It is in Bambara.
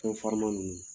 Fɛn farinman ninnu